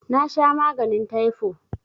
Nasha maganin taifo